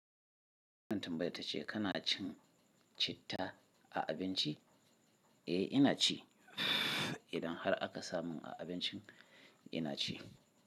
Mutum bai tace kana cin citta a abinci? Eh, ina ci. Idan har aka samu a abincin ina ci.